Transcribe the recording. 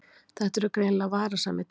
Þetta eru greinilega varasamir tímar.